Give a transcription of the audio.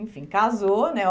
Enfim, casou, né?